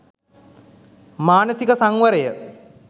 මානසික සංවරය,